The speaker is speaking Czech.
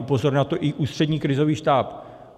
Upozorňoval na to i Ústřední krizový štáb.